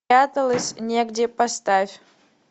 негде поставь